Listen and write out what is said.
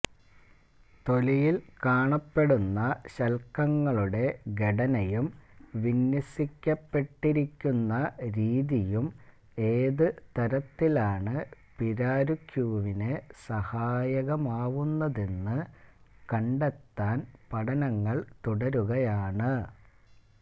തൊലിയില് കാണപ്പെടുന്ന ശല്ക്കങ്ങളുടെ ഘടനയും വിന്യസിക്കപ്പെട്ടിരിക്കുന്ന രീതിയും ഏതു തരത്തിലാണ് പിരാരുക്യുവിന് സഹായകമാവുന്നതെന്ന് കണ്ടെത്താൻ പഠനങ്ങള് തുടരുകയാണ്